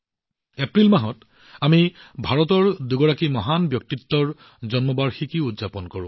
এপ্ৰিল মাহত আমি ভাৰতৰ দুই মহান ব্যক্তিত্বৰ জন্ম বাৰ্ষিকীও উদযাপন কৰিম